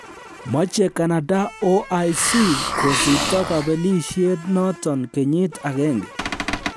Moche Canada OIC kosipto kobelisiet noton kenyit agenge.